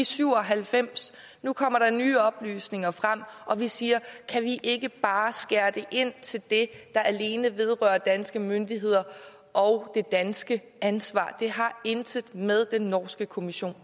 syv og halvfems nu kommer der nye oplysninger frem og vi siger kan vi ikke bare skære det ind til det der alene vedrører danske myndigheder og det danske ansvar det har intet med den norske kommission